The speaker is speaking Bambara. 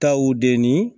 Taw de ni